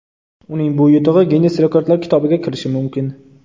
Uning bu yutug‘i Ginnes rekordlar kitobiga kirishi mumkin.